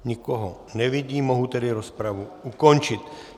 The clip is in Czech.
Nikoho nevidím, mohu tedy rozpravu ukončit.